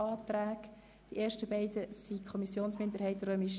Die beiden ersten sind von der Kommissionsminderheit II.